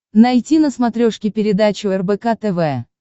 найти на смотрешке передачу рбк тв